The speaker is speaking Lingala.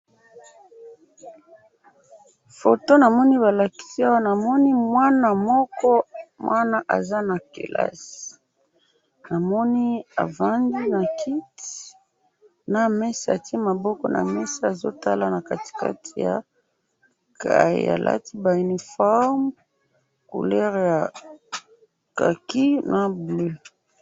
Photo namoni balakisi Awa, namoni mwana moko, mwana aza na kelasi. Namoni avandi na kiti, na mesa, atie Maboko na mesa, Azo tala na katikati ya cahier, alati ba uniformes, couleur ya kaki na bleu.